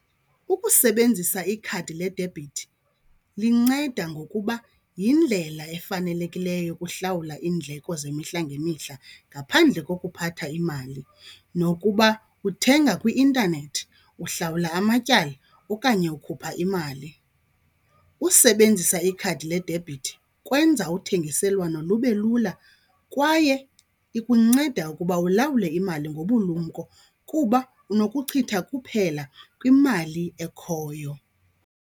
Ukusebenzisa ikhadi ledebhithi linceda ngokuba yindlela efanelekileyo yokuhlawula iindleko zemihla ngemihla ngaphandle kokuphatha imali nokuba uthenga kwi-intanethi, uhlawula amatyala okanye ukhupha imali. Usebenzisa ikhadi ledebhithi kwenza uthengiselwano lube lula kwaye ikunceda ukuba ulawule imali ngobulumko kuba unokuchitha kuphela kwimali ekhoyo.